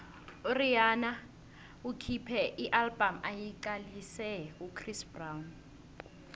urhihana ukhuphe ialbum ayiqalise kuchris brown